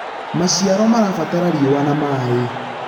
maciaro marabatara riũa na maĩ